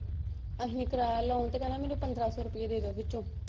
ਆਹੀ ਕਰਾਇਆ loan ਤੇ ਕਹਿੰਦਾ ਮੈਨੂੰ ਪੰਦਰਾਂ ਸੋ ਰੂਪੀ ਦੇਦੋ ਵਿਚੋਂ।